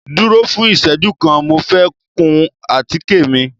Duro fun ìseju kan, Mo fẹ kun àtike mi